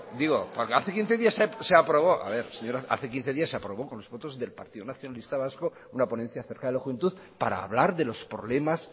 digo porque hace quince días se aprobó con los votos del partido nacionalista vasco una ponencia acerca de la juventud para hablar de los problemas